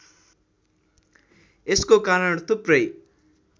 यसको कारण थुप्रै